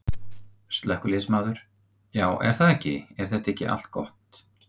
Slökkviliðsmaður: Já er það ekki, er þetta ekki allt gott?